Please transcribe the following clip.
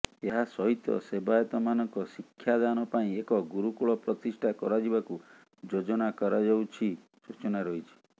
ଏହା ସହିତ ସେବାୟତମାନଙ୍କ ଶିକ୍ଷାଦାନ ପାଇଁ ଏକ ଗୁରୁକୂଳ ପ୍ରତିଷ୍ଠା କରାଯିବାକୁ ଯୋଜନା କରାଯାଉଛି ସୂଚନା ରହିଛି